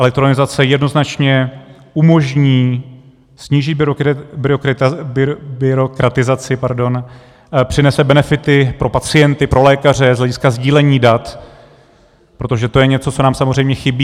Elektronizace jednoznačně umožní snížit byrokratizaci, přinese benefity pro pacienty, pro lékaře z hlediska sdílení dat, protože to je něco, co nám samozřejmě chybí.